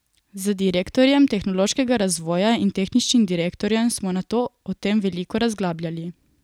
Z direktorjem tehnološkega razvoja in tehničnim direktorjem smo nato o tem veliko razglabljali.